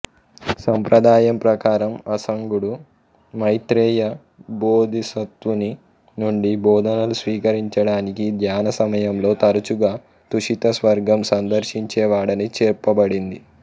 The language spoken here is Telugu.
సంప్రదాయం ప్రకారం అసంగుడు మైత్రేయ బోధిసత్వుని నుండి బోధనలు స్వీకరించడానికి ధ్యాన సమయంలో తరుచుగా తుషిత స్వర్గం సందిర్శించేవాడని చెప్పబడింది